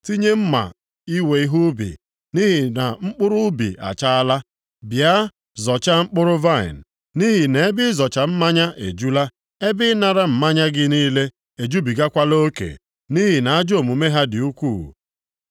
Tinye mma iwe ihe ubi, nʼihi na mkpụrụ ubi achaala. Bịa zọchaa mkpụrụ vaịnị, nʼihi nʼebe ịzọcha mmanya ejula, ebe ịnara mmanya gị niile ejubigakwala oke, nʼihi na ajọ omume ha dị ukwuu.”